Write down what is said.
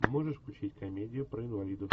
можешь включить комедию про инвалидов